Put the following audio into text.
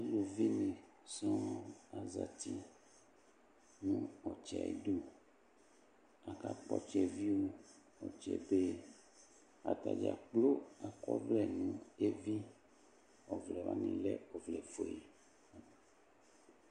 Aluvi ne sɔɔ azti no ɔtsɛ ayidu, aka kpɔ ɔtsɛviu, ɔtsɛbe Ata dzakplo akɔ ɔvlɛ no evi, Ɔvlɛ wane lɛ ɔvlɛ fue